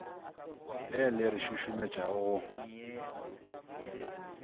le le re šušumetšago go